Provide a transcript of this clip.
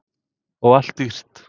Og allt dýrt.